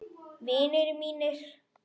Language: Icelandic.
Vinir mínir.